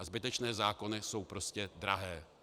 A zbytečné zákony jsou prostě drahé.